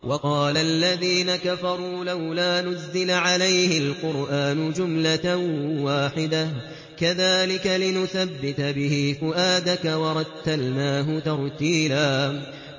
وَقَالَ الَّذِينَ كَفَرُوا لَوْلَا نُزِّلَ عَلَيْهِ الْقُرْآنُ جُمْلَةً وَاحِدَةً ۚ كَذَٰلِكَ لِنُثَبِّتَ بِهِ فُؤَادَكَ ۖ وَرَتَّلْنَاهُ تَرْتِيلًا